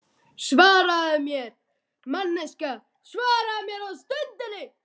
Svaraðu mér, manneskja, svaraðu mér á stundinni.